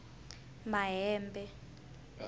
mahebe